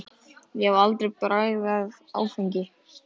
Ég hef aldrei bragðað áfengi.